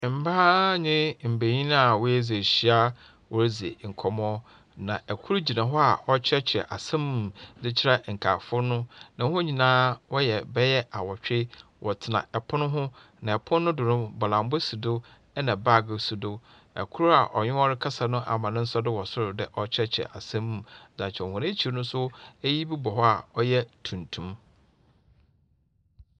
Mbaa nye mbanyin aa w'adzi ehyia aa wɔredzi nkɔmɔ na ɛkor gyina hɔ aa ɔkyerɛ kyerɛ asɛm mu de kyerɛ nkaafo no. Na wɔn nyinaa wɔyɛ bɛyɛ awɔtwe wɔtsena ɛpon ho na ɛpon no do no bɔlambɔ si do ɛna baag si do. Ɛkor aa ɔnye wɔn rekasa no ama ne nsa do wɔ sor dɛ ɔkyerɛkyerɛ asɛm de akyerɛ hɔn. Wɔn akyir no so eyi bi bɔ hɔ aa ɔyɛ tuntum.